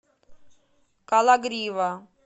кологрива